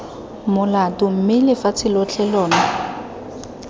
molato mme lefatshe lotlhe lona